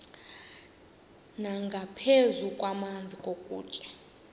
nangaphezu kwamanzi nokutya